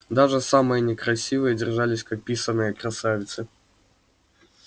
даже самые некрасивые держались как писаные красавицы